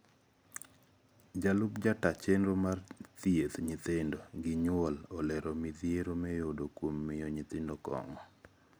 jalup jataa chenro mar thieth nyithindo gi nyuol olero midhiero miyudo kuom miyo nyithindo kong`o.